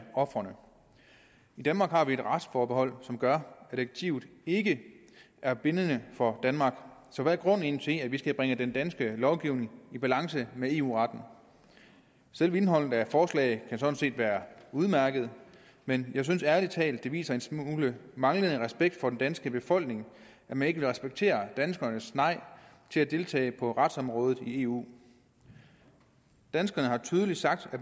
ofrene i danmark har vi et retsforbehold som gør at direktivet ikke er bindende for danmark så hvad er grunden egentlig til at vi skal bringe den danske lovgivning i balance med eu retten selve indholdet af forslaget kan sådan set være udmærket men jeg synes ærlig talt at det viser en smule manglende respekt for den danske befolkning at man ikke vil respektere danskernes nej til at deltage på retsområdet i eu danskerne har tydeligt sagt at